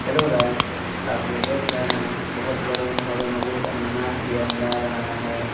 Hello guys आप ये देख रहे है बहोत बड़े भव्य मंदिर का निर्माण किया जा रहा हैं।